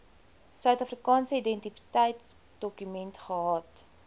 suidafrikaanse identiteitsdokument gehad